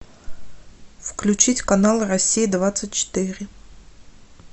включить канал россия двадцать четыре